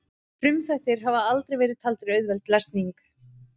frumþættir hafa aldrei verið taldir auðveld lesning